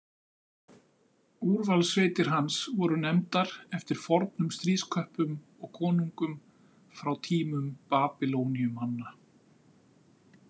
Úrvalssveitir hans voru nefndar eftir fornum stríðsköppum og konungum frá tímum Babýloníumanna.